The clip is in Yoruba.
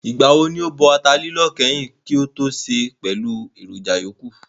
Ìgbà wo ni ó bọ ata lílọ̀ kányìn kí ó tó sè é pẹ̀lú èròjà ìyókù?